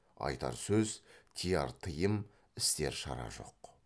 айтар сөз тыяр тыйым істер шара жоқ